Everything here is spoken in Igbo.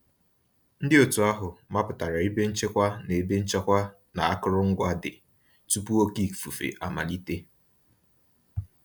Ndị òtù ahụ mapụtara ebe nchekwa na ebe nchekwa na akụrụngwa dị, tupu oké ifufe amalite